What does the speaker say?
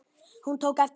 Hún tók eftir honum!